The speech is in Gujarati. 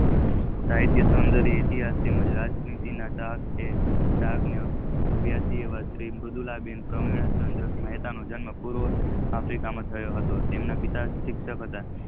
સાહિત્ય સુંદર ઇતિહાસ તેમજ રાજનીતિ ચાહક ના અભિયાંશી તેવા મુદલાબેન ચન્દ્ર સવૉમી મેહતા નો જન્મ પૂર્વે આફ્રિકા માં થયો હતો તેમજ તેના પીએ શિક્ષક હતા.